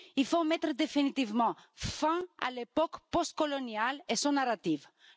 Il faut mettre définitivement fin à l'époque postcoloniale et à ce récit.